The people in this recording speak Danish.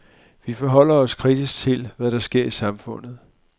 Vi forholder os kritisk til, hvad der sker i samfundet.